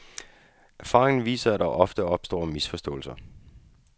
Erfaringen viser, at der ofte opstår misforståelser.